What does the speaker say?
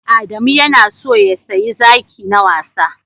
Adamu ya na so ya siya zaki na wasa